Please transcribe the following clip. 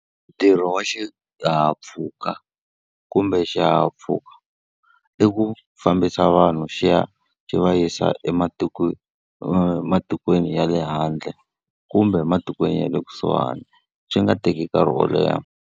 Ntirho wa xihahampfhuka kumbe xihahampfhuka i ku fambisa vanhu xi ya xi va yisa ematikweni ya le handle, kumbe ematikweni ya le kusuhani xi nga teki nkarhi wo leha.